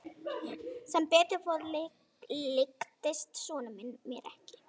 Sem betur fór líktist sonur minn mér ekki.